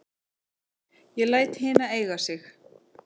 Ég læt hina eiga sig.